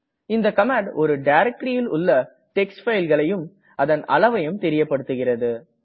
இந்த கமாண்ட் ஒரு directoryல் உள்ள டிஎக்ஸ்டி fileகளையும் அதன் அளைவயும் தெரியப்படுத்துகிறது